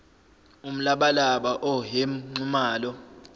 umlabalaba oehm nxumalo